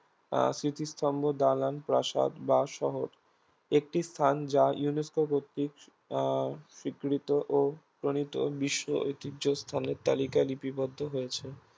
আহ স্মৃতিস্তম্ভ, দালান, প্রাসাদ বা শহর একটি স্থান যা UNESCO কর্তৃক আহ স্বীকৃত ও প্রণীত বিশ্ব ঐতিহ্য স্থানের তালিকায় লিপিবদ্ধ হয়েছে